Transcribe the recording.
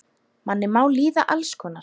Manni má líða alls konar.